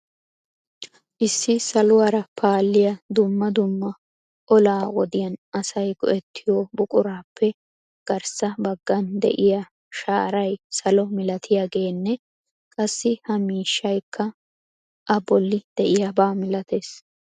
Issi saluwaara paaliya dumma dumma bolla wodiyaan asay go"ettiyo buqurappe garssa baggan de'iya shaaray salo malatiyaaganne qassi ha miishshaykkana bolli de'iyaaba malatees.